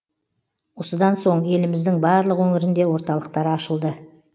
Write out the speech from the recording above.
осыдан соң еліміздің барлық өңірінде орталықтар ашылды